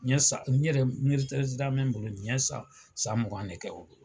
Ni ye san n ye yɛrɛtɛrɛti la min bolo n ye san mugan de kɛ o bolo.